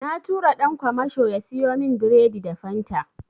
Na tura ɗan kwamasho ya siyo min biredi da Fanta.